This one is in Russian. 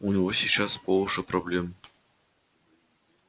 у него сейчас по уши проблем